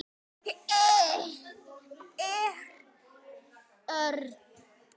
Eða öfugt.